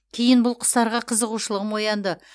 кейін бұл құстарға қызығушылығым оянды